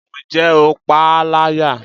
Ǹjẹ́ o pa a láyà?